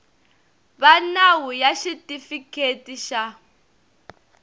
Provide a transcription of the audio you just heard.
va nawu ya xitifiketi xa